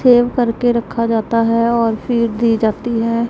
Save करके रखा जाता है और फिर दी जाती है।